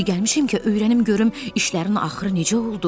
İndi gəlmişəm ki, öyrənim görüm işlərin axırı necə oldu.